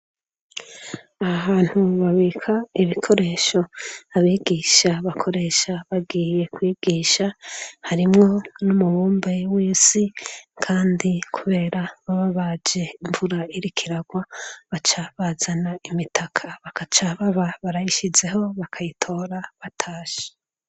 Ahantu babika ibikoresho abigisha bakoresha bagiye kwigisha harimwo n'umubumbe w'isi kandi kubera bababaje imvura irikiragwa baca bazana imitaka bakaca baba barayishyizeho bakayitora batashe.